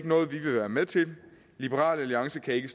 noget vi vil være med til liberal alliance kan ikke